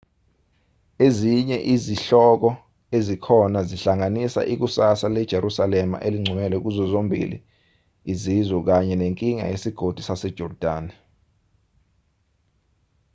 ezinye izihloko ezikhona zihlanganisa ikusasa lejerusalema eligcwele kuzo zombili izizwe kanye nenkinga yesigodi sasejordani